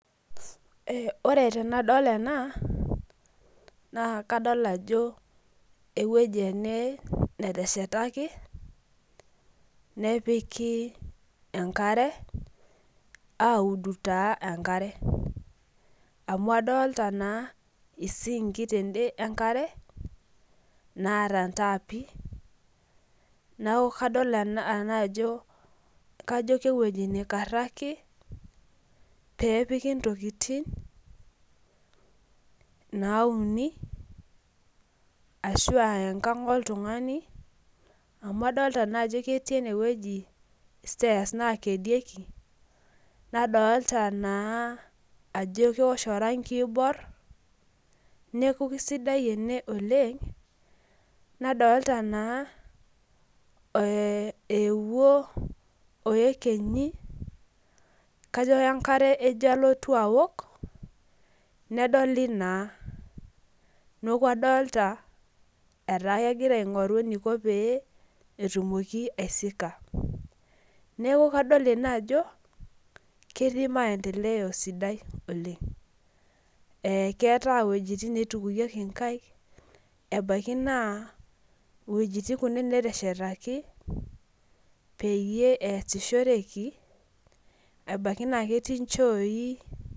Ore tenadol ena na kadol ajo ewoi ene nateshetaki nepiki enkare audibtaa enkarebamu adolta taa isinki lenkare naata ntaapi neaku kadolta ajo kewpi naikarako pepiki ntokitin nauni ashu aa enkang oltungani amu adol ta ajo ketii enewueji stairs nadolta naa ajo keosho orangi oibor neaku kesidai ena oleng amu ewuo oekenyi kajo enkarebejo alotu aaok nedoli naa neaku adolta enegira aiko petumoki aisika neaku adolta ajo ketii maendeleo sapuk oleng keeta wuejitin naitukieki nkaek ebaki na wuejitin nateshetaki peyie easishoreki ebaki na ketii nchooi